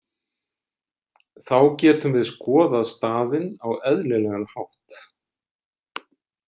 Þá getum við skoðað staðinn á eðlilegan hátt.